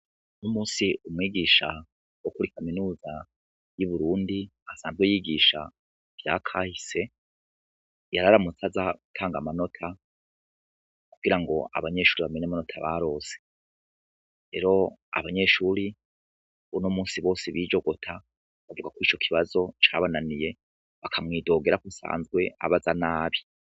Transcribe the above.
Uno munsi umwigisha wo kuri kaminuza y’uburundi asanzwe yigisha ivyakahise yararamutse aza gutanga amanota kugirango abanyeshure bamenye amanota baronse, rero abanyeshue kuruno munsi bose bijogota bavugako ico kibazo cabananiye bakamwidogera ko asanzwe abaza nabi.